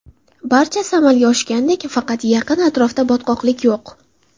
Barchasi amalga oshgandek, faqat yaqin atrofda botqoqlik yo‘q.